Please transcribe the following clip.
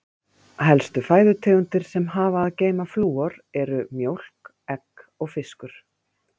Helstu fæðutegundir sem hafa að geyma flúor eru: mjólk, egg og fiskur.